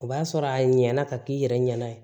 O b'a sɔrɔ a ɲɛna ka k'i yɛrɛ ɲɛna